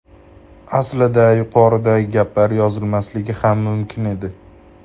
Aslida yuqoridagi gaplar yozilmasligi ham mumkin edi.